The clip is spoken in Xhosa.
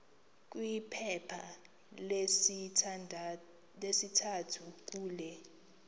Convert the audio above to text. kwiphepha lesithathu kule